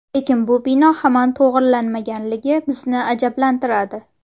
Lekin bu bino hamon to‘g‘rilanmaganligi bizni ajablantiradi.